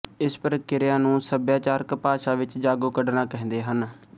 ਇਸ ਪ੍ਰਕਿਰਿਆ ਨੂੰ ਸੱਭਿਆਚਾਰਕ ਭਾਸ਼ਾ ਵਿੱਚ ਜਾਗੋ ਕੱਢਣਾ ਕਹਿੰਦੇ ਹਨ